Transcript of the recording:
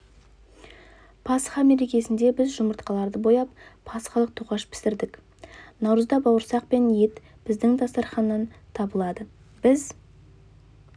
пасха мерекесінде біз жұмыртқаларды бояп пасхалық тоқаш пісірдік наурызда бауырсақ пен ет біздің дастарханнан табылады біз